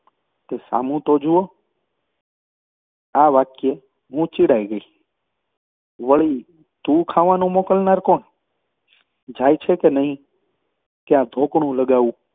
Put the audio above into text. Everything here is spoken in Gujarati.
તે સામું તો જુઓ! આ વાક્હુંય ચિડાઈ ગઈ. વળી તું ખાવાનું મોકલનાર કોણ? જાય છે કે નહિ કે આ ધોકાણું લગાવું?